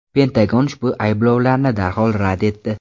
Pentagon ushbu ayblovlarni darhol rad etdi .